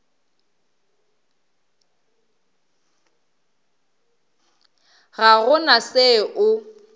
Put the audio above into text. ga go na se o